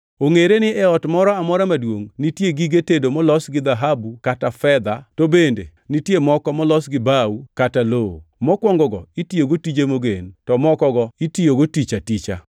Ongʼere in e ot moro amora maduongʼ nitie gige tedo molos gi dhahabu kata fedha, to bende nitie moko molosi gi bao kata lowo. Mokwongogo itiyogo tije mogen, to mokogo itiyogo tich aticha.